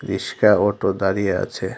রিস্কা অটো দাঁড়িয়ে আছে।